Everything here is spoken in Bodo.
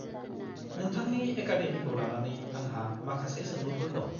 -नोंथांनि एकाडेमिखौ लानानै आंहा माखासे सोंलुफोर दं।